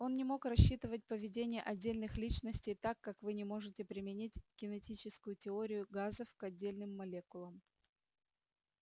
он не мог рассчитывать поведение отдельных личностей так как вы не можете применить кинетическую теорию газов к отдельным молекулам